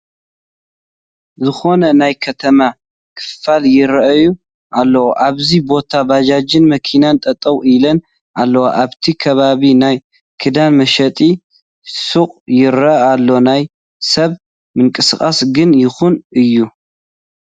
ዝኾነ ናይ ከተማ ክፋል ይርአ ኣሎ፡፡ ኣብዚ ቦታ ባጃጅን መኪናን ጠጠው ኢለን ኣለዋ፡፡ ኣብቲ ከባቢ ናይ ክዳን መሸጢ ሹቕ ይርአ ኣሎ፡፡ ናይ ሰብ ምንቅስቓሱ ግን ድኹም እዩ፡፡